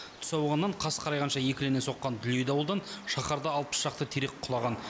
түс ауғаннан қас қарайғанша екілене соққан дүлей дауылдан шаһарда алпыс шақты терек құлаған